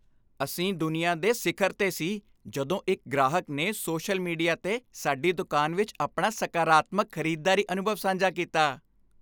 ਅਸੀਂ ਦੁਨੀਆ ਦੇ ਸਿਖਰ 'ਤੇ ਸੀ ਜਦੋਂ ਇੱਕ ਗ੍ਰਾਹਕ ਨੇ ਸੋਸ਼ਲ ਮੀਡੀਆ 'ਤੇ ਸਾਡੀ ਦੁਕਾਨ ਵਿੱਚ ਆਪਣਾ ਸਕਾਰਾਤਮਕ ਖ਼ਰੀਦਦਾਰੀ ਅਨੁਭਵ ਸਾਂਝਾ ਕੀਤਾ।